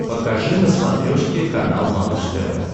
покажи на смотрешке канал малыш тв